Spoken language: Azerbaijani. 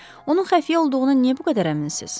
Onun xəfiyyə olduğunu niyə bu qədər əminsiz?